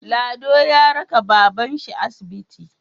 Lado ya raka baban shi asibiti